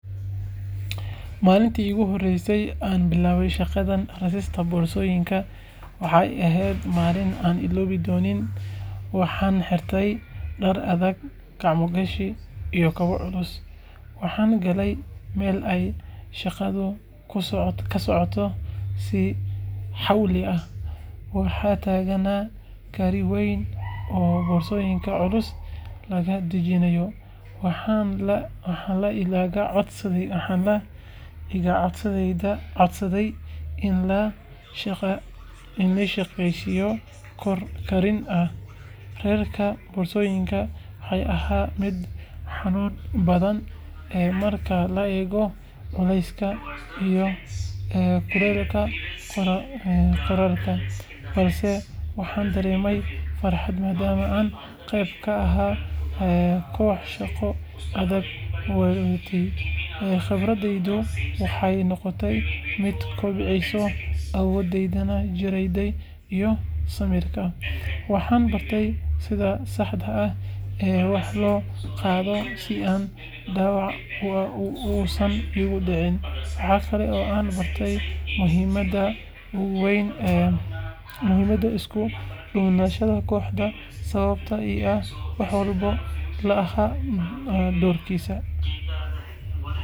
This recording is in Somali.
Maalintii iigu horreysay ee aan bilaabay shaqada rarista boorsooyinka, waxay ahayd maalin aanan illoobi doonin. Waxaan xirtay dhar adag, gacmo gashi, iyo kabo culus, waxaanan galay meel ay shaqadu ka socoto si xawli ah. Waxaa taagnaa gaari weyn oo boorsooyin culus laga dejinayo, waxaana la iga codsaday inaan la shaqeeyo koox rariin ah. Rarka boorsooyinku wuxuu ahaa mid xanuun badan marka la eego culayska iyo kulaylka qorraxda, balse waxaan dareemay farxad maadaama aan qeyb ka ahaa koox shaqo adag wadatay. Khibraddeydu waxay noqotay mid kobcisay awooddeyda jireed iyo samirka. Waxaan bartay sida saxda ah ee wax loo qaado si aan dhaawac uusan iigu dhicin. Waxa kale oo aan bartay muhiimadda isku-duubnaanta kooxda, sababtoo ah mid walba wuxuu lahaa doorkiisa.